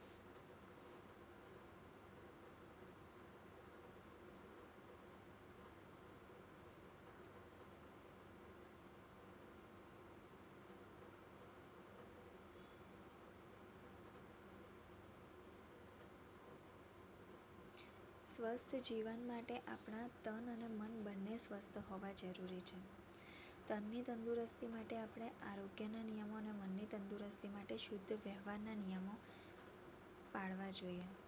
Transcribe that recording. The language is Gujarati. સ્વસ્થ જીવન માટે આપના તન અને મન બંને સ્વસ્થ હોવા જરૂરી છે. તનની તદુરસ્તી માટે આપણે આરોગ્ય ના નિયમો અને મનની તંદુરસ્તી માટે શુદ્ધ વ્યવહારના નિયમો પાળવા જોઈએ